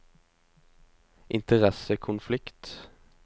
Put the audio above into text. interessekonflikt